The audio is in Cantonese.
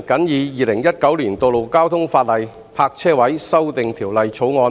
《2019年道路交通法例條例草案》。